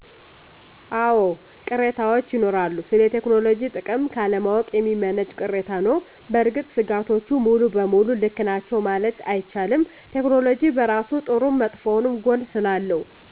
አወ ቅሬታወች ይኖራሉ ስለ ቴክኖሎጅ ጥቅም ካለማወቅ የሚመነጭ ቅሬታ ነዉ። በእርግጥ ሰጋቶቹ ሙሉ በሙሉ ልክ ናቸዉ መማለት አይቻልም። ቴክኖሎጅ በራሱ ጥሩም መጥፎም ጎን ስላለው